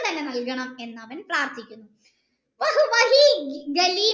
ഇപ്പം നൽകണം എന്ന് അവൻ പ്രാർത്ഥിക്കുന്നു